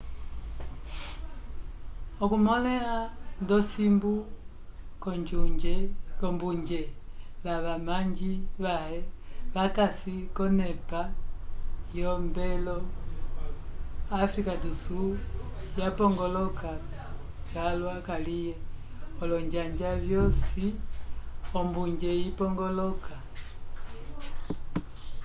okumõleha nd'osimbu k'ombunje lavamanji vãhe vakasi k'onepa yombwelo áfrica do sul yapongoloka calwa kaliye olonjanja vyosi ombunje ipongoloka